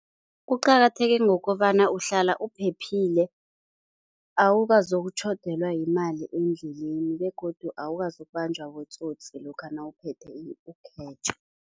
Kuqakatheke ngokobana uhlala uphephile, awukazokutjhodelwa yimali endleleni begodu, awukazokubanjwa botsotsi lokha nawuphethe